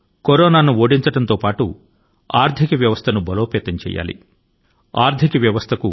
అవి కరోనా ను ఓడించడం మరియు దేశ ఆర్థిక వ్యవస్థ ను బలోపేతం చేసి దానికి శక్తి ని ఇవ్వడమూను